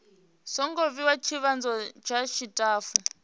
songo vhewa ndivhadzo dza tshitafu